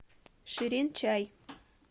ширин чай